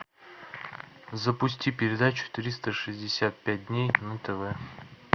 запусти передачу триста шестьдесят пять дней на тв